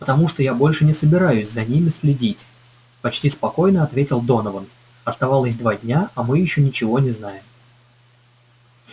потому что я больше не собираюсь за ними следить почти спокойно ответил донован осталось два дня а мы ещё ничего не знаем